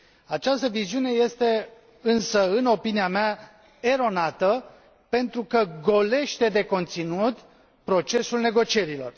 Această viziune este însă, în opinia mea, eronată, pentru că golește de conținut procesul negocierilor.